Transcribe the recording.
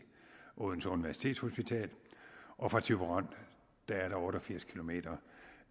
odense universitetshospital og fra thyborøn er der otte og firs km